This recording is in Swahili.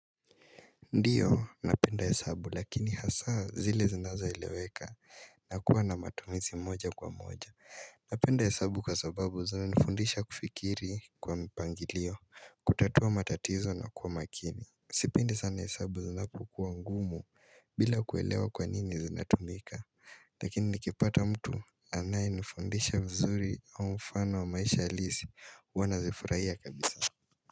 Ndio napenda hesabu lakini hasa zile zinazo eleweka na kuwa na matumizi moja kwa moja Napenda hesabu kwa sababu zinanifundisha kufikiri kwa mpangilio kutatua matatizo na kuwa makini Sipendi sana hesabu zinapokuwa ngumu bila kuelewa kwa nini zinatumika Lakini nikipata mtu anayeniifundisha mzuri au mfano wa maisha halisi huwa nazifurahia kabisa.